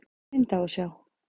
Hvaða mynd á að sjá?